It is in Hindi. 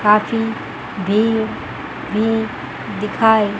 काफी भीड़ भी दिखाई--